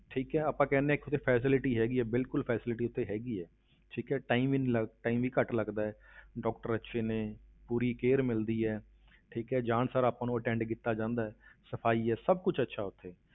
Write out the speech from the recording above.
ਠੀਕ ਹੈ ਆਪਾਂ ਕਹਿੰਦੇ ਹਾਂ ਇੱਕ facility ਹੈਗੀ ਬਿਲਕੁਲ facility ਉੱਥੇ ਹੈਗੀ ਹੈ ਠੀਕ ਹੈ time ਵੀ ਨੀ ਲੱਗ~ time ਵੀ ਘੱਟ ਲੱਗਦਾ ਹੈ doctor ਅੱਛੇ ਨੇ, ਪੂਰੀ care ਮਿਲਦੀ ਹੈ ਠੀਕ ਹੈ, ਜਾਣ ਸਾਰ ਆਪਾਂ ਨੂੰ attend ਕੀਤਾ ਜਾਂਦਾ ਹੈ ਸਫ਼ਾਈ ਹੈ, ਸਭ ਕੁਛ ਅੱਛਾ ਹੈ ਉੱਥੇ,